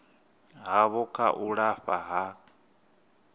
havho kha u lafha ha